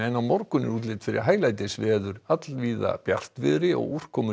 á morgun er útlit fyrir hæglætisveður allvíða bjartviðri og úrkomulítið